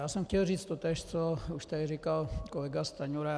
Já jsem chtěl říci totéž, co už tady říkal kolega Stanjura.